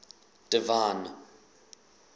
divine